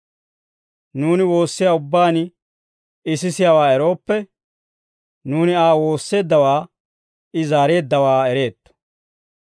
Nuuni woossiyaa ubbaan I sisiyaawaa erooppe, nuuni Aa woosseeddawaa I zaareeddawaa ereetto.